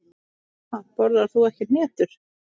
Ha, borðar þú ekki hnetur?